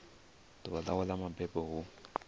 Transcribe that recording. ḓuvha ḽawe ḽa mabebo hu